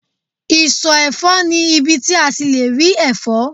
iso efo ni ibi ti a le ri efo